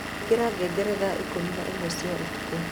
Ikĩra ngengere thaa ikũmi na ĩmwe cia ũtukũ